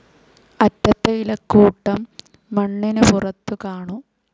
അറ്റത്തെ ഇലക്കൂട്ടം മണ്ണിനു പുറത്തുകാണൂ.